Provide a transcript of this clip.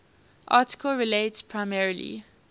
article relates primarily